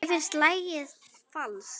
Mér finnst lagið falskt.